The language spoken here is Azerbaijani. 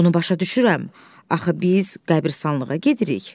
Bunu başa düşürəm, axı biz qəbristanlığa gedirik.